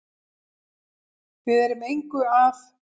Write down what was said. Við erum engu að